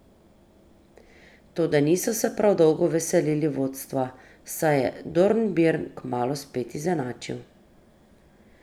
Toda niso se prav dolgo veselili vodstva, saj je Dornbirn kmalu spet izenačil.